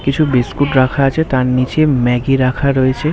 কিছু বিসকুট রাখা আছে তার নিচে ম্যাগি রাখা রয়েছে ।